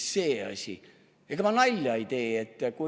Või see asi – ega ma nalja ei tee!